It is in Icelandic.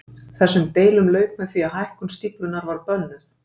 Þessum deilum lauk með því að hækkun stíflunnar var bönnuð.